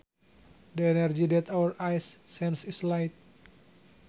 The energy that our eyes sense is light